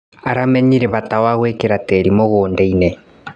Aramenyire bata wa kwagĩria tĩri mũgũndainĩ.